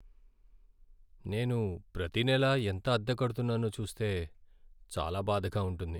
నేను ప్రతి నెలా ఎంత అద్దె కడుతున్నానో చూస్తే చాలా బాధగా ఉంటుంది.